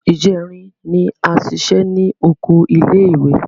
Ìjẹrin ni a ṣiṣẹ́ ní oko ilé ìwé.